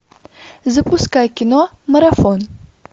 запускай кино марафон